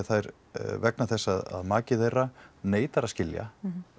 vegna þess að maki þeirra neitar að skilja